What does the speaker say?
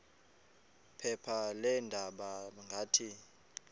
phepha leendaba ngathi